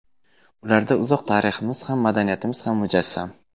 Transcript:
Ularda uzoq tariximiz ham, madaniyatimiz ham mujassam.